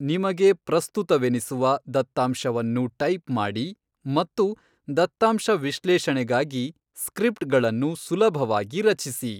ನಿಮಗೆ ಪ್ರಸ್ತುತವೆನಿಸುವ ದತ್ತಾಂಶವನ್ನು ಟೈಪ್ ಮಾಡಿ ಮತ್ತು ದತ್ತಾಂಶ ವಿಶ್ಲೇಷಣೆಗಾಗಿ ಸ್ಕ್ರಿಪ್ಟ್ಗಳನ್ನು ಸುಲಭವಾಗಿ ರಚಿಸಿ.